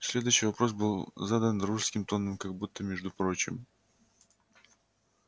следующий вопрос был задан дружеским тоном как будто между прочим